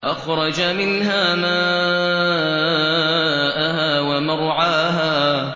أَخْرَجَ مِنْهَا مَاءَهَا وَمَرْعَاهَا